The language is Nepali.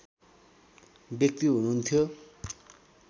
व्यक्ति हुनुहुन्थ्यो